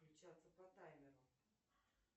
включаться по таймеру